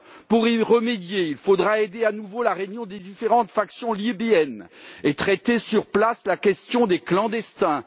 Pour y remédier, il faudra aider à nouveau la réunion des différentes factions libyennes et traiter sur place la question des clandestins.